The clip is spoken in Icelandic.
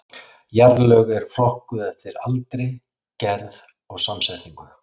Jarðlög eru flokkuð eftir aldri, gerð og samsetningu.